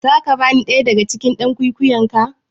Za ka bani ɗaya daga cikin "yan kwikwiyon ka?